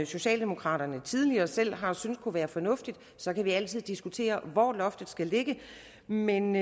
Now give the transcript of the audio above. socialdemokraterne tidligere selv har syntes kunne være fornuftigt så kan vi altid diskutere hvor loftet skal ligge men